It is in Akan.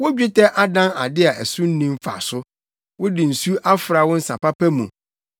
Wo dwetɛ adan ade a so nni mfaso, wɔde nsu afra wo nsa papa mu.